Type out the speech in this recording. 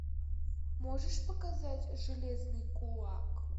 можешь показать железный кулак